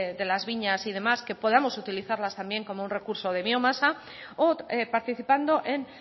de las viñas y demás que podamos utilizarlas también como un recurso de biomasa o participando en